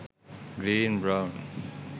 green brown